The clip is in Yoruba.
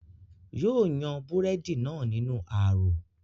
yóò yan búrẹ́dì náà nínú ààrò